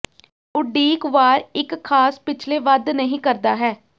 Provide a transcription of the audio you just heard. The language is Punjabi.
ਉਡੀਕ ਵਾਰ ਇੱਕ ਖਾਸ ਪਿਛਲੇ ਵੱਧ ਨਹੀ ਕਰਦਾ ਹੈ